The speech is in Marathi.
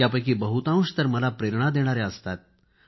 त्यापैकी बहुतांश तर मला प्रेरणा देणाऱ्याव असतात